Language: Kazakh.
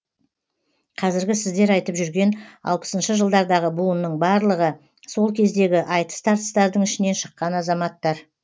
қазіргі сіздер айтып жүрген алпысыншы жылдардағы буынның барлығы сол кездегі айтыс тартыстардың ішінен шыққан азаматтар